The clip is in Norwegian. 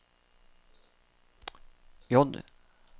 J